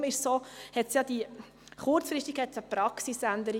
Kurzfristig gab es bei Artikel 24c RPG eine Praxisänderung.